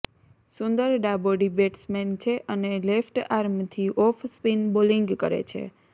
સુંદર ડાબોડી બેટ્સમેન છે અને લેફ્ટ આર્મથી ઓફ સ્પીન બોલિંગ કરે છે